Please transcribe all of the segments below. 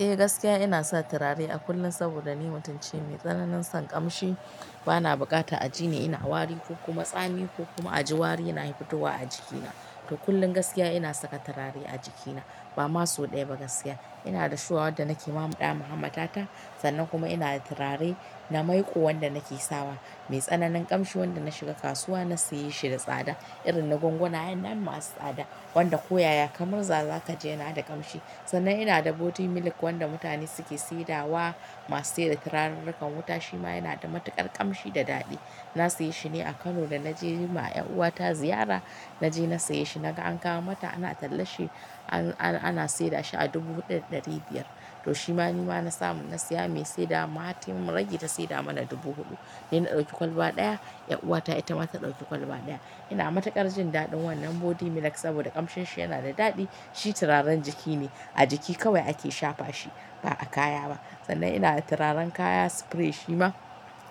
Eh, gaskiya inasa turare a kullum saboda ni matum ce mai tsananin son kamshi. Bana bukatar a jini ina wari ko kuma tsami ko kuma a ji wari yana fitowa a jikina. To kullum gaskiya ina saka turare a jikina. Bama sau daya ba gaskiya, inada shuwa wadda nake mamudawa hammatata. Sannan kuma inada turare na maiƙo wanda nake sawa. Mai tsananin ƙamshi wanda na shiga kasuwa na siyeshi da tsada. Irin na gwangwanayan nan masu tsada. Wanda koyaya kamrza zakaji yanada ƙamshi. Sannan inada body milk wanda mutane suke saidawa masu saida turarurrukan wuta shima yanada matuƙar ƙamshi da daɗi. Na siyeshi ne a Kano da naje yima 'yan uwata ziyara. Naje na siyeshi naga ankawo mata ana tallasshi ana sedashi a dubu huɗu da ɗari biyar. To shima nima nasamu na siya mai sedawarma har taimun ragi ta sedamana dubu huɗu. Nina ɗauki kwalba ɗaya, 'yan uwata itama ta ɗauki kwalba ɗaya. Ina matuƙar jindaɗin wannan body milk saboda ƙamshinsa yanada daɗi. Shi turaren jikine. A jiki kawai ake shafa shi ba a kaya ba. Sannan inada turaren kaya spray shima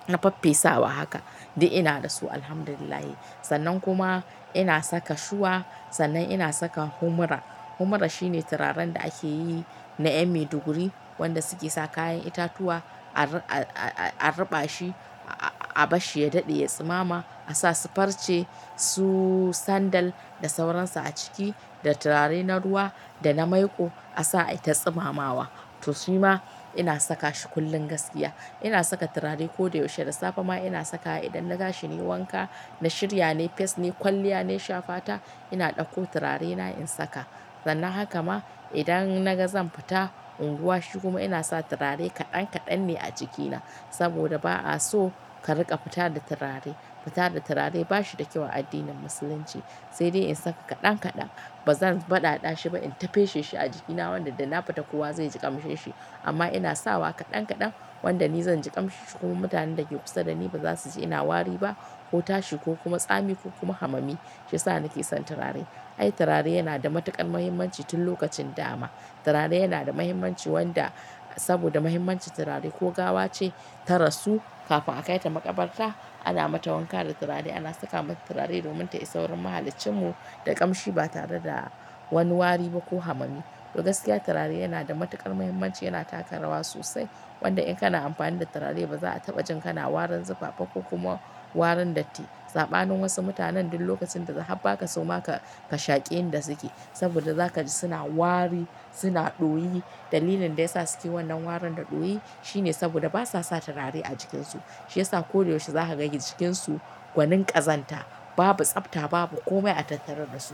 na faffesawa haka. Di ina dasu. Alhamdulillahi. Sannan kuma ina saka shuwa. Sannan ina saka humra. Humura shine turaren da akeyi na ƴan maiduguri wanda suke sa kayan itatuwa a-a-a-a ruɓashi, a-a-abashshi ya daɗe ya tsimama. A sasu farce, su sandal da sauransu aciki da turare na ruwa dana maiƙo asa aita tsimamawa. To shi ma ina saka shi kullum gaskiya. Ina saka turare koda yaushe. Da safe ma ina sakawa idan na tashi nayi wanka, na shirya nai fes nai kwalliya na shafa ta ina ɗauko turarena in saka. Sannan haka ma idan naga zanfita unguwa shi kuma inasa turare kaɗan kaɗan ne a jikina. Saboda ba a so ka riƙa fita da turare. Fita da turare bashi da kyau a addinin musulunci. Sai dai in saka kaɗan kaɗan. Ba zan baɗaɗashi ba inta fesheshi a jikina wanda dana fita kowa zaiji ƙamshin shi. Amma ina sawa kaɗan kaɗan wanda ni zanji ƙamshin shi kuma mutanen dake kusa dani b za suji ina wari ba ko tashi ko kuma tsami ko kuma hamami. Shiyasa nake son turare. Ai turare yana da matuƙar muhimmanci tun lokacin dama. Turare yana da muhimmanci wanda saboda muhimmancin turare ko gawace tarasu kafin a kaita maƙabarta ana mata wanka da turare. Ana saka mata turare domin ta isa wurin mahaliccinmu da ƙamshi batare da wani wari ba ko hamami. To gaskiya turare yanada matuƙar muhimmanci yana taka rawa sosai. Wanda in kana amfani da turare baza a taɓa jin kana warin zufa ba ko kuma warin datti. Saɓanin wasu mutanen duk lokacin da suka habba kaso ma ka-ka shaƙi inda suke. Saboda za ka ji suna wari, suna ɗoyi. Dalilin dayasa suke wannan warin da ɗoyi shine saboda basasa turare a jikinsu. Shiyasa koda yaushe za kaga jikinsu gwanin ƙazanta. Babu tsafta, babu komai a tattare dasu.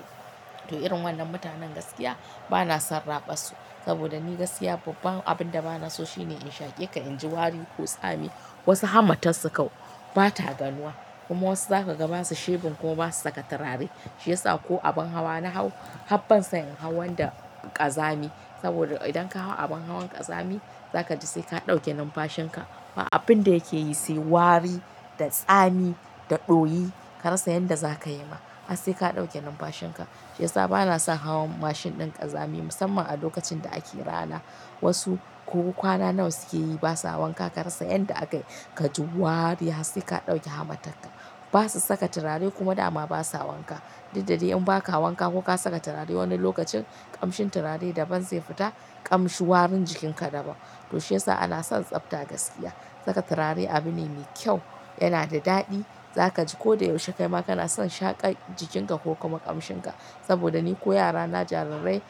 To irin wannan mutanen gaskiya banason raɓassu. Saboda ni gaskiya babban abinda banaso shine in shaƙe ka inji wari ko tsami. Wasu hammatassu kau bata ganuwa. Kuma wasu za kaga basu shebun kuma basu saka turare. Shiyasa ko abin hawa nahau hab bansan in hau wanda ƙazami. Saboda idan kahau abin hawan ƙazami zakaji saika ɗauke numfashin ka. Ba abinda yakeyi sai wari da tsami da ɗoyi. Karasa yadda zakayi ma. Har saika ɗauke numfashinka. Shiyasa banason hawan mashin ɗin ƙazami musamman alokacin da ake rana. Wasu ko kwana nawa sukeyi basa wanka karasa yadda akayi kaji wari. Har saika ɗauke hammatakka. Basu saka turare kuma dama basa wanka. Didda dai in baka wanka koka saka turare wani lokacin ƙamshin turare daban zai fita. Ƙamshin warin jikinka daban. To shi ya sa ana son tsafta gaskiya. Saka turare abune me kyau, yanada daɗi. Zakaji koda yaushe kaima kanason shaƙar jikinka ko kuma ƙamshinka. Saboda ni ko yarana jarirai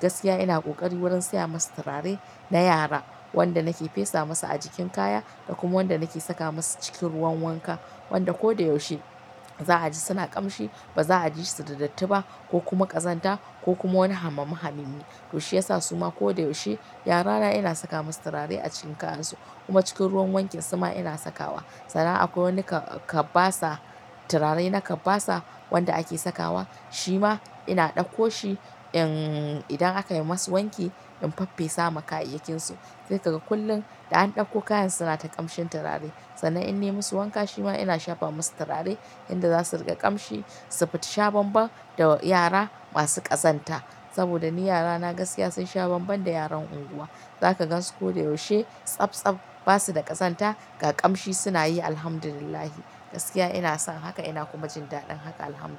gaskiya ina ƙoƙari wurin sayamasu turare na yara. Wanda nake fesa musu ajikin kaya dakuma wanda nake saka musu cikin ruwan wanka. Wanda ko da yaushe za a ji suna ƙamshi. Ba za'ajisu da datti ba ko kuma ƙazanta ko kuma wani hamami hamimi. To shiyasa suma koda yaushe yarana ina sakamasu turare acikin kayansu. Kuma cikin ruwan wankinsu ma ina sakawa. Sannan akwai wani ka-kabbasa, turare na kabbasa wanda ake sakawa. Shi ma ina ɗauko shi in idan akayi masu wanki in faffesa ma kayayyakinsu. Sai kaga kullum da an ɗauko kayan sunata ƙamshin turare. Sannan in nemusu wanka shima ina shafamasu turare yanda zasu riƙa ƙamshi, su fita shabanban da yara masu ƙazanta. Saboda ni yarana gaskiya sunsha banban da yaran unguwa. Zaka gansu koda yaushe tsabtsab, basu da ƙazanta, ga ƙamshi sunayi. Alhamdulillahi. Gaskiya ina son haka ina kuma jin daɗin haka. Alhamdulillah.